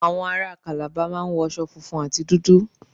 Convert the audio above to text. Àwọn aráa Calabar máa ń wọ aṣo funfun àti dúdú.